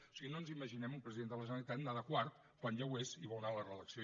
o sigui no ens imaginem un president de la generalitat anant de quart quan ja ho és i vol anar a la reelecció